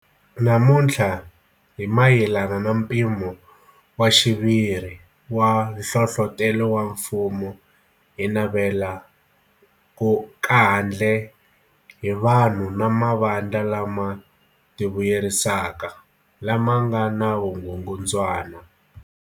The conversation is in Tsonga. Namuntlha hi mayelana na mpimo wa xiviri wa nhlohlotelo wa mfumo hi ku navela kau kandle hi vanhu na mavandla lama tivuyerisaka, lama nga na vukungundzwana.